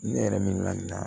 Ne yɛrɛ mina nin na